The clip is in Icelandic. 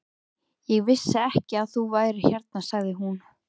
Ég vissi ekki að þú værir hérna sagði hún.